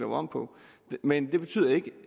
om på men det betyder ikke